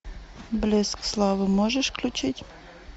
блеск славы можешь включить